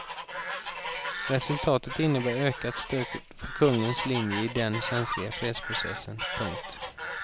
Resultatet innebär ökat stöd för kungens linje i den känsliga fredsprocessen. punkt